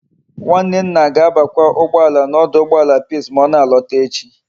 Nwanne nna ga abakwa ugboala na oduugboala peace ma ona alota echi